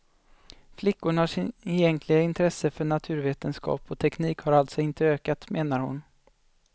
Flickornas egentliga intresse för naturvetenskap och teknik har alltså inte ökat, menar hon.